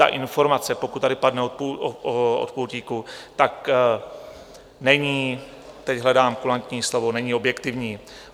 Ta informace, pokud tady padne od pultíku, tak není - teď hledám kulantní slovo - není objektivní.